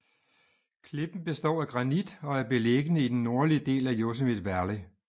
Klippen består af granit og er beliggende i den nordlige del af Yosemite Valley